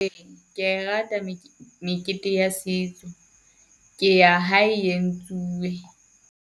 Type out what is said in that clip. Ke ya e rata mekete ya setso, ke ya ha e entsuwe.